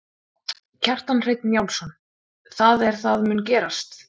Kjartan Hreinn Njálsson: Það er það mun gerast?